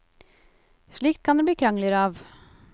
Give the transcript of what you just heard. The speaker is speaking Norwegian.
Slikt kan det bli krangler av.